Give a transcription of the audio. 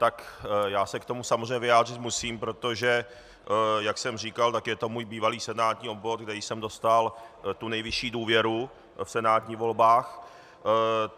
Tak já se k tomu samozřejmě vyjádřit musím, protože jak jsem říkal, tak je to můj bývalý senátní obvod, kde jsem dostal tu nejvyšší důvěru v senátních volbách.